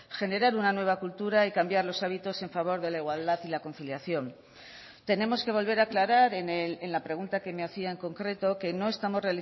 generar una nueva cultura y cambiar los hábitos en favor de la igualdad y la conciliación tenemos que volver a aclarar en la pregunta que me hacía en concreto que no estamos